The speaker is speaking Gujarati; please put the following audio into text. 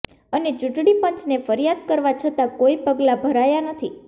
અને ચૂંટણી પંચને ફરિયાદ કરવા છતાં કોઈ પગલા ભરાયા નથી